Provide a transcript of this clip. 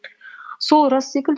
сол рас секілді